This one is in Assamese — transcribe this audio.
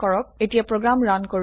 এতিয়া প্ৰোগ্ৰাম ৰান কৰো